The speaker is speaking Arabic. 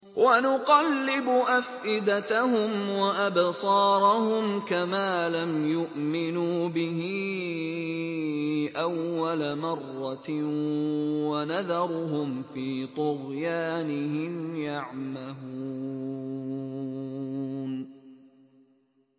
وَنُقَلِّبُ أَفْئِدَتَهُمْ وَأَبْصَارَهُمْ كَمَا لَمْ يُؤْمِنُوا بِهِ أَوَّلَ مَرَّةٍ وَنَذَرُهُمْ فِي طُغْيَانِهِمْ يَعْمَهُونَ